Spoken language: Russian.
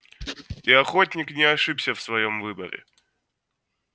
и охотник не ошибся в своём выборе